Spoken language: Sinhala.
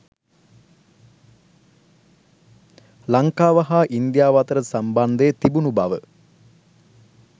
ලංකාව හා ඉන්දියාව අතර සම්බන්ධය තිබුණු බව